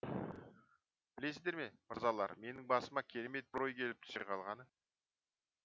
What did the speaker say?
білесіздер ме мырзалар менің басыма керемет бір ой келіп түсе қалғаны